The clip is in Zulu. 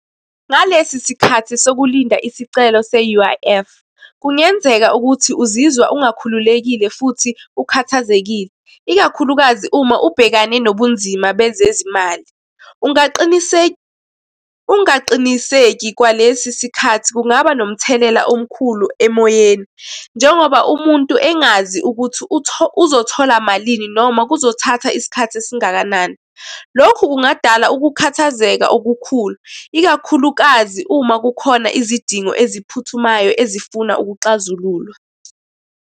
Ngalesi sikhathi sokulinda isicelo se-U_I_F, kungenzeka ukuthi uzizwa engakhululekile futhi ukhathazekile, ikakhulukazi uma ubhekane nobunzima bezezimali. Ungaqiniseki kwalesi sikhathi kungaba nomthelela omkhulu emoyeni, njengoba umuntu engazi ukuthi uzothola malini, noma kuzothatha isikhathi esingakanani. Lokhu kungadala ukukhathazeka okukhulu, ikakhulukazi uma kukhona izidingo eziphuthumayo ezifuna ukuxazululwa.